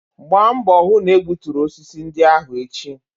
Gba mbọ hụ na egbuturu osisi ndị ahụ echi!